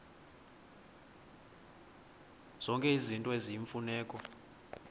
zonke izinto eziyimfuneko